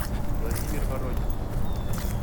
владимир воронин